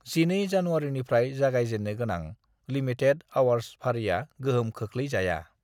12 जनुवारिनिफ्राय जागाय जेन्नो गोनां लिमिथेद-अवर्स फारिया गोहोम खोख्लै जाया।